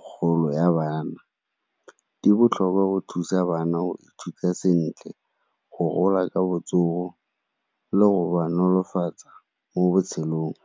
kgolo ya bana. Di botlhokwa go thusa bana go ithuta sentle, go gola ka botsogo le go ba nolofatsa mo botshelong.